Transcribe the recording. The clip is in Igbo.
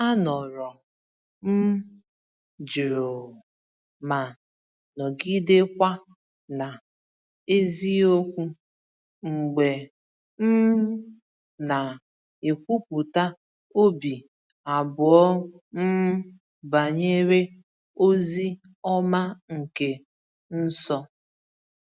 Anọrọ m jụụ ma nọgidekwa na eziokwu mgbe m na-ekwupụta obi abụọ m banyere ozi ọma nke nso.